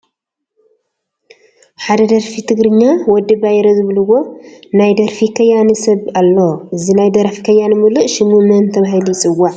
ኣብ ደርፊ ትግርኛ ወዲ ባይረ ዝብሉዎ ናይ ደርፊ ከያኒ ሰብ ኣሎ፡፡ እዚ ናይ ደራፊ ከያኒ ሙሉእ ሽሙ መን ተባሂሉ ይፅዋዕ?